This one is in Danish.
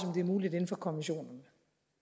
det er muligt inden for konventionen